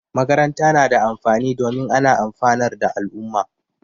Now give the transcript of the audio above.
Makaranta na da amfani domin ana amfanar da al'umma